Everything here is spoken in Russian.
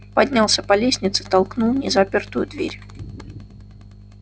поднялся по лестнице толкнул незапертую дверь